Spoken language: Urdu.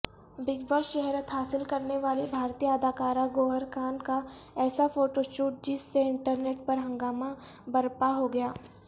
بگ باس شہرت حاصل کرنیوالی بھارتی اداکارہ گوہرخان کا ایسافوٹوشوٹ جس سے انٹرنیٹ پرہنگامہ برپاہوگیا